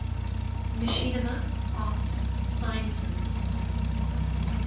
machinima arts sciences